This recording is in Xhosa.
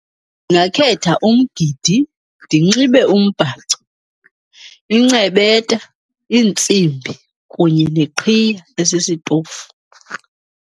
Ndingakhetha umgidi ndinxibe umbhaco, incebeta, iintsimbi kunye neqhiya esisitofu.